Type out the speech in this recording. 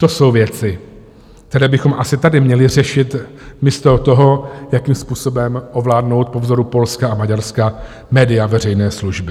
To jsou věci, které bychom asi tady měli řešit místo toho, jakým způsobem ovládnout po vzoru Polska a Maďarska média veřejné služby.